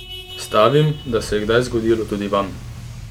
Stavim, da se je kdaj zgodilo tudi vam!